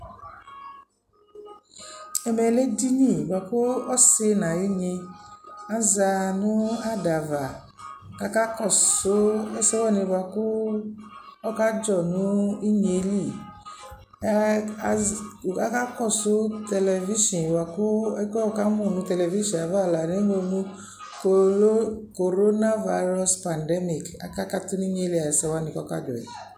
Ɛmɛ lɛ edini bʋa kʋ ɔsɩ n'ayʋ nyɩ aza n'adava k'aka kɔsʋ ɛsɛwanɩ bʋa kʋ ɔkadzɔ nʋ inye yɛ lɛ Aka kɔsʋ television bʋa kʋ ɛkʋ yɛ wʋ kamʋ nʋ television ava la nʋ eŋlo nʋ : corona virus pandemic, aka katʋ n'inye yɛ li ayɛsɛwanɩ k'ɔka dzɔ yɛ